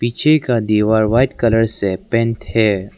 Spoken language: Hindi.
का दीवार व्हाइट कलर से पेंट है।